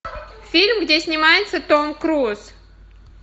фильм где снимается том круз